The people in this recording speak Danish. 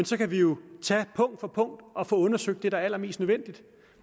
så kan vi jo tage punkt for punkt og få undersøgt det der er allermest nødvendigt